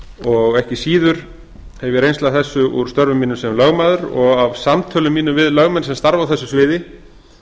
og ekki síður hef ég reynslu af þessu úr störfum mínum sem lögmaður og af samtölum mínum við lögmenn sem starfa á þessu sviði